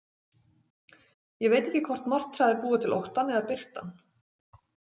Ég veit ekki hvort martraðir búa til óttann eða birta hann.